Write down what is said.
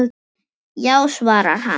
Já svarar hann.